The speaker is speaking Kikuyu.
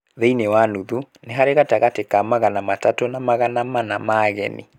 Thĩinĩ wa nuthu, nĩ harĩ gatagatĩ ka magana matatũ na magana mana ma ageni